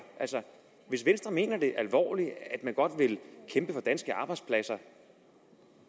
altså hvis venstre mener alvorligt at man godt vil kæmpe for danske arbejdspladser